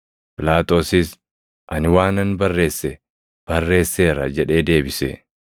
Phiilaaxoosis, “Ani waanan barreesse, barreesseera” jedhee deebise.